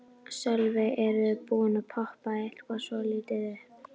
Sölvi: Er búið að poppa þetta svolítið upp?